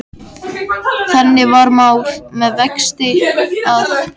Þannig var mál með vexti, að